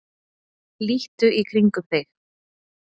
Líttu í kringum þig.